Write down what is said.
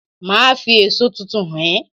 Màá fi èso tuntun hàn é